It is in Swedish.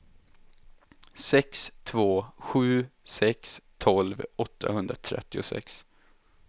sex två sju sex tolv åttahundratrettiosex